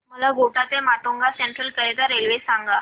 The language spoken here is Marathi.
मला कोटा ते माटुंगा सेंट्रल करीता रेल्वे सांगा